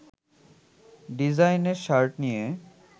ডিজাইনের শার্ট নিয়ে